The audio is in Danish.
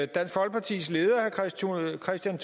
dansk folkepartis leder herre kristian